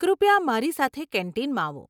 કૃપયા મારી સાથે કેન્ટીનમાં આવો.